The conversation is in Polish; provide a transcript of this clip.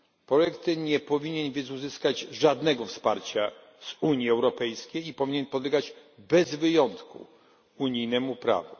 Projekt ten nie powinien więc uzyskać żadnego wsparcia z Unii Europejskiej i powinien podlegać bez wyjątku unijnemu prawu.